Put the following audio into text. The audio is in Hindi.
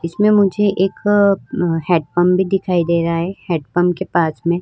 इसमें मुझे एक हेडपंप भी दिखाई दे रहा है हेडपंप के पास में --